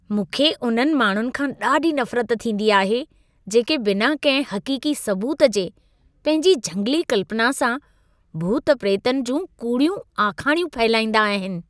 मूंखे उन्हनि माण्हुनि खां ॾाढी नफ़रत थींदी आहे, जेके बिना कंहिं हक़ीक़ी सबूत जे पंहिंजी झंगली कल्पना सां भूत-प्रेतनि जूं कूड़ियूं आखाणियूं फहिलाईंदा आहिनि।